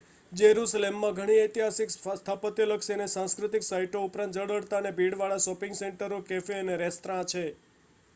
જેરુસલેમમાં ઘણી ઐતિહાસિક સ્થાપત્યલક્ષી અને સાંસ્કૃતિક સાઇટો ઉપરાંત ઝળહળતા અને ભીડવાળા શૉપિંગ સેન્ટરો કૅફે અને રેસ્ત્રાં છે